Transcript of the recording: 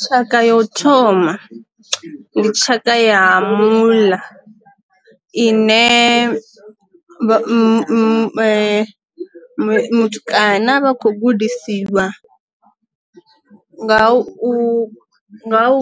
Tshaka ya u thoma ndi tshaka ya muḽa ina muṅwe mutukana ane a vha khou gudisiwa nga u